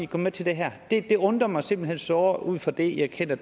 gå med til det her det undrer mig simpelt hen såre meget ud fra det jeg kender